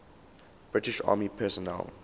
british army personnel